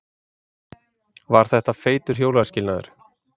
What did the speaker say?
Var þetta feitur hjónaskilnaður?